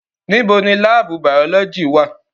Nibo ni laabu bayọlọji wa?